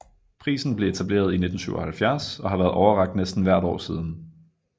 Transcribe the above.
Prisen blev etableret i 1977 og har været overrakt næsten hvert år siden